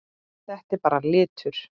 Þetta er bara litur.